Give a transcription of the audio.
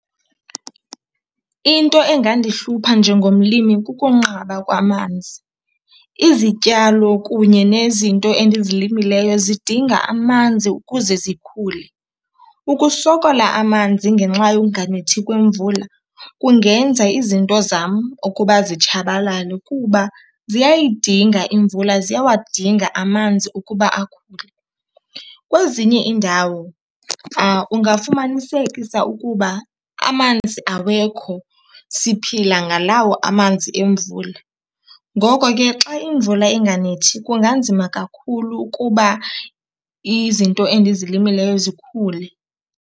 Into engandihlupha njengomlimi kukunqaba kwamanzi. Izityalo kunye nezinto endizilimileyo zidinga amanzi ukuze zikhule. Ukusokola amanzi ngenxa yonganethi kwemvula kungenza izinto zam ukuba zitshabalale kuba ziyayidinga imvula, ziyawadinga amanzi ukuba akhule. Kwezinye iindawo ungafumanisekisa ukuba amanzi awekho, siphila ngalawo amanzi emvula. Ngoko ke xa imvula inganethi kunganzima kakhulu ukuba izinto endizilimileyo zikhule.